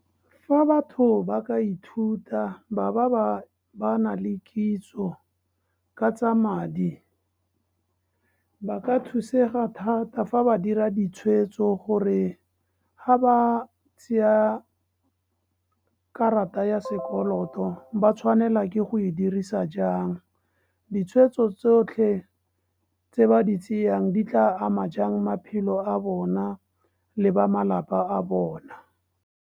Fa batho ba ka ithuta baba ba bana le kitso ka tsa madi, ba ka thusega thata fa ba dira ditshweetso, gore ga ba sia karata ya sekoloto, ba tshwanela ke go e dirisa jang. Ditshweetso tsotlhe, tse ba di tseyang di tla ama jang maphelo a bona, le ba malapa a bona.